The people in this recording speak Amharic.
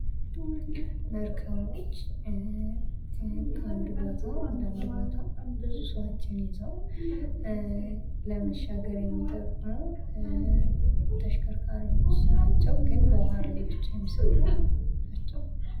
መርከቦች ከአንድ ቦታ ወደ አንድ ቦታ ብዙ ሰዎችን ይዘው ለመሻገር የሚጠቅሙ ተሽከርካሪዎች ናቸው ግን በውሃ ላይ ብቻ የሚሰሩ ናቸው ።